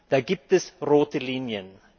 Da gibt es rote Linien.